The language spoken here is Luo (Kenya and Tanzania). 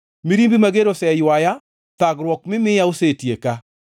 Mirimbi mager oseywaya; thagruok mimiya osetieka.